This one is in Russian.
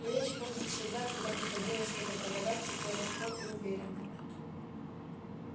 речь его как всегда когда приходилось что-то продавать текла легко и уверенно